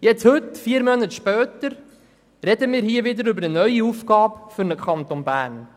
Heute, vier Monate später, sprechen wir über eine neue Aufgabe für den Kanton Bern.